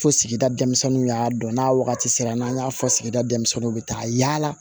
Fo sigida dɛmisɛnninw y'a dɔn n'a wagati sera n'an y'a fɔ sigida denmisɛnninw be taa yaala